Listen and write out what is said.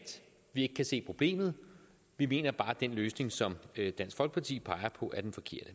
vi ikke kan se problemet vi mener bare at den løsning som dansk folkeparti peger på er den forkerte